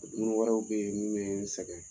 Dumuni wɛrɛw bɛ yen minnu bɛ n sɛgɛn